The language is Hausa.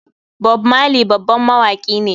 Bob marley babban mawaki ne.